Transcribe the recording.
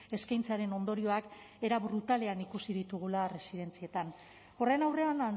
eskaintzaren ondorioak era brutalean ikusi ditugula residentzietan horren aurrean